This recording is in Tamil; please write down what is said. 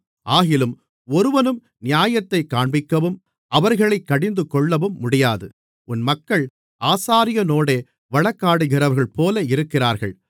ஆகிலும் ஒருவனும் நியாயத்தைக் காண்பிக்கவும் அவர்களைக் கடிந்துகொள்ளவும் முடியாது உன் மக்கள் ஆசாரியனோடே வழக்காடுகிறவர்களைப்போல இருக்கிறார்கள்